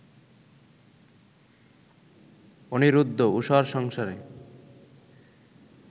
অনিরুদ্ধ, উষার সংসারে